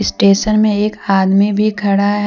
Station में एक आदमी भी खड़ा है।